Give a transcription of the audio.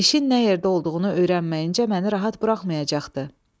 İşin nə yerdə olduğunu öyrənməyincə məni rahat buraxmayacaqdı.